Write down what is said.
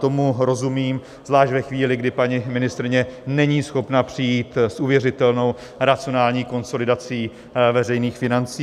Tomu rozumím, zvlášť ve chvíli, kdy paní ministryně není schopna přijít s uvěřitelnou racionální konsolidací veřejných financí.